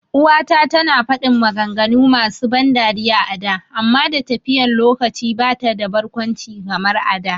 uwa ta tana fadin maganganu masu ban dariya a da amma da tafiyan lokaci bata da barkwanci kamar a da